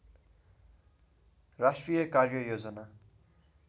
राष्ट्रिय कार्ययोजना